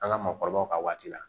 An ka maakɔrɔbaw ka waati la